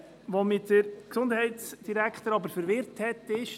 Allerdings hat mich der Gesundheitsdirektor verwirrt: